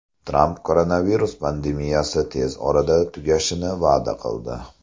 Tramp koronavirus pandemiyasi tez orada tugashini va’da qildi.